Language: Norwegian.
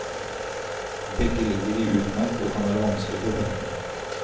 Begge ligger i utmark og kan være vanskelige å finne.